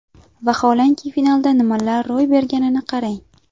Vaholanki finalda nimalar ro‘y berganiga qarang.